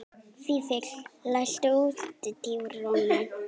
Fífill, læstu útidyrunum.